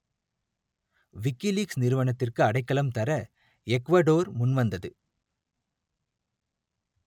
WikiLeaks நிறுவனத்திற்கு அடைக்கலம் தர எக்குவடோர் முன்வந்தது